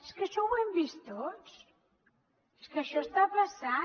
és que això ho hem vist tots és que això està passant